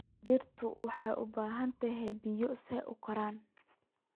Dhirtu waxay u baahan tahay biyo si ay u koraan.